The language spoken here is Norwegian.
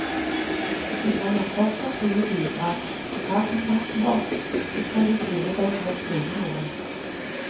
Vi trenger fortsatt dine bidrag, så ta kontakt med oss, så skal vi tvinge deg til å skrive noe.